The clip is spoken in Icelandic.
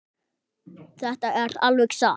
Þetta er alveg satt.